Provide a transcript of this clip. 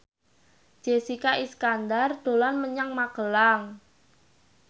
Jessica Iskandar dolan menyang Magelang